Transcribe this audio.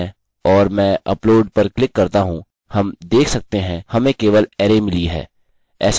जब हम करते हैं और मैं अपलोड पर क्लिक करता हूँ हम देख सकते हैं हमें केवल array मिली है ऐसा इसलिए क्योंकि यह एक अरै है